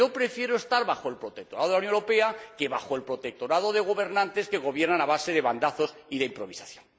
Yo prefiero estar bajo el protectorado de la Unión Europea que bajo el protectorado de gobernantes que gobiernan a base de bandazos y de improvisación.